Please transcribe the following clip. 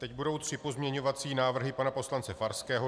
Teď budou tři pozměňovací návrhy pana poslance Farského.